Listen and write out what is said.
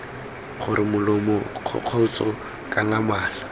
gore molomo kgokgotsho kana mala